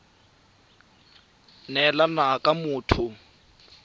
thelebi ene e neela motho